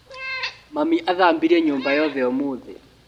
Mami athambirie nyũmba yothe ũmũthĩ.